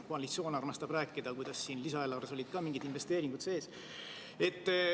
Koalitsioon armastab rääkida, kuidas siin lisaeelarves olid ka mingisugused investeeringud sees.